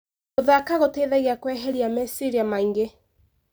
Gũthaka gũteithagia kũeheria maciria maingĩ.